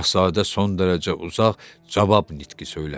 Şahzadə son dərəcə uzaq cavab nitqi söylədi.